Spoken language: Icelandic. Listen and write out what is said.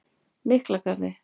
Miklagarði